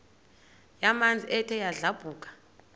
yamanzi ethe yadlabhuka